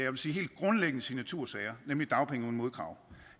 vil sige helt grundlæggende signatursager nemlig dagpenge uden modkrav